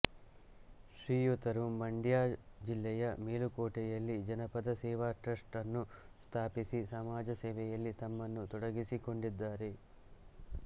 ಶ್ರೀಯುತರು ಮಂಡ್ಯ ಜಿಲ್ಲೆಯ ಮೇಲುಕೋಟೆಯಲ್ಲಿ ಜನಪದ ಸೇವಾ ಟ್ರಸ್ಟ್ ನ್ನು ಸ್ಥಾಪಿಸಿ ಸಮಾಜ ಸೇವೆಯಲ್ಲಿ ತಮ್ಮನ್ನು ತೊಡಗಿಸಿಕೊಂಡಿದ್ದಾರೆ